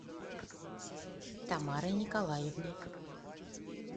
тамарой николаевной